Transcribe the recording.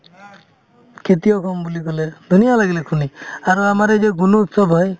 খেতিয়ক হ'ম বুলি ক'লে ধুনীয়া লাগিলে শুনি আৰু আমাৰ এই যে গুণোৎসৱ হয়